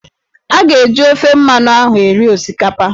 Ha ga-eji ofe mmanụ ahụ eri osikapa